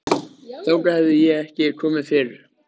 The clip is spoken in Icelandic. Þangað hafði ég ekki komið fyrr.